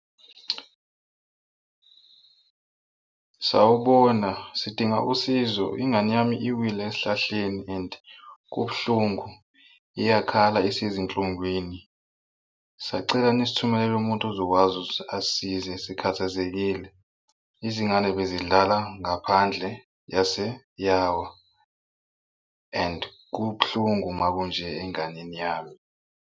Sawubona, sidinga usizo ingane yami iwile esihlahleni and kubuhlungu iyakhala isezinhlungwini. Sacela nisithumelele umuntu ozokwazi ukuthi asisize sikhathazekile. Izingane bezidlala ngaphandle yase yawa and kubuhlungu uma kunje enganeni yami.